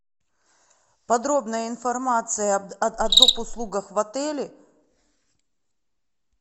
подробная информация о доп услугах в отеле